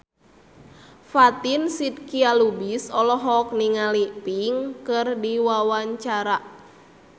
Fatin Shidqia Lubis olohok ningali Pink keur diwawancara